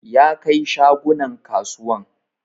Ya kai shagunan kasuwan